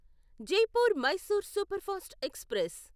Jaipur Mysore superfast express